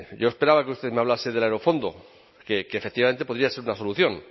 yo esperaba que usted me hablase del aerofondo que efectivamente podría ser una solución